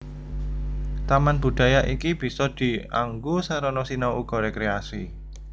Taman budaya iki bisa dianggo sarana sinau uga rékréasi